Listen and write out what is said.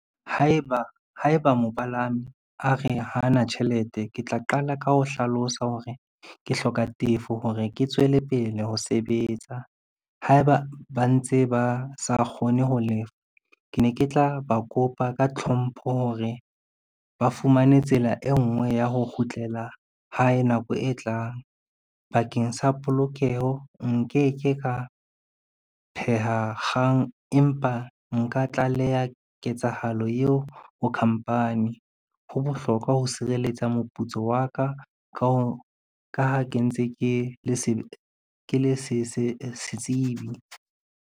Haeba mopalami a re hana tjhelete, ke tla qala ka ho hlalosa hore ke hloka tefo hore ke tswele pele ho sebetsa. Haeba ba ntse ba sa kgone ho lefa, ke ne ke tla ba kopa ka tlhompho hore ba fumane tsela e ngwe ya ho kgutlela hae nako e tlang bakeng sa polokeho nkeke ka pheha kgang, empa nka tlaleha ketsahalo eo ho khampani. Ho bohlokwa ho sireletsa moputso wa ka ka ha ke le setsebi.